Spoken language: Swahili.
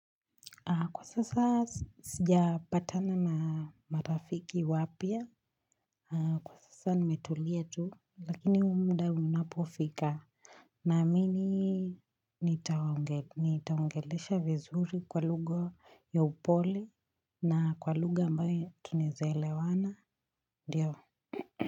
Kwa sasa sijapatana na marafiki wapya, kwa sasa nimetulia tu, lakini muda unapofika naamini, nita waongelesha vizuri kwa lugha ya upole na kwa lugha ambayo tunaeza elewana, ndio.